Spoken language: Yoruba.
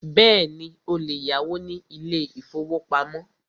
Bẹ́ẹ̀ni, o lè yáwó ní ilé ìfọwọ́pamo.